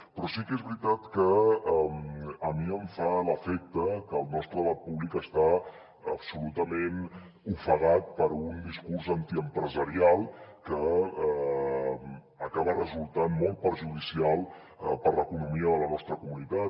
però sí que és veritat que a mi em fa l’efecte que el nostre debat públic està absolutament ofegat per un discurs antiempresarial que acaba resultant molt perjudicial per a l’economia de la nostra comunitat